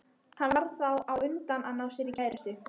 Hann varð þá á undan að ná sér í kærustu.